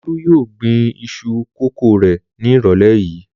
Olú yóò gbin iṣu kòkó rẹ̀ ní ìrọ̀lẹ́ yìí.